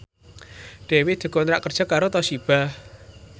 Dewi dikontrak kerja karo Toshiba